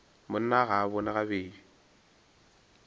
monna ga a bone gabedi